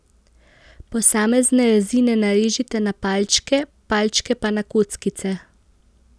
Posamezne rezine narežite na palčke, palčke pa na kockice.